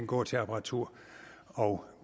gå til apparatur og